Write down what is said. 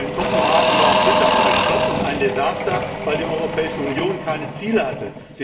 Denn Kopenhagen war auch deshalb ein Flop und ein Desaster, weil die Europäische Union keine Ziele hatte.